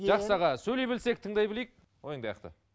жақсы аға сөйлей білсек тыңдай білейік ойыңды аяқта